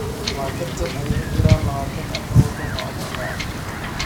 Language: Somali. Waa tartan ay ku jiraan 24 waddan oo Afrika ah.